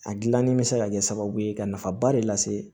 A gilanni bɛ se ka kɛ sababu ye ka nafaba de lase